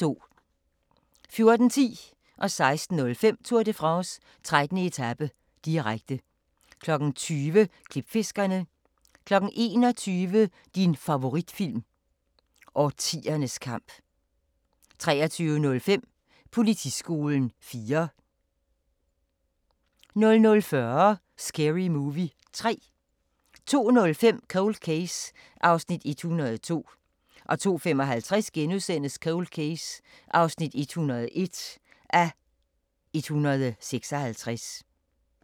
14:10: Tour de France: 13. etape, direkte 16:05: Tour de France: 13. etape, direkte 20:00: Klipfiskerne 21:00: Din favoritfilm – Årtiernes kamp 23:05: Politiskolen 4 00:40: Scary Movie 3 02:05: Cold Case (102:156) 02:55: Cold Case (101:156)* 03:45: Manolete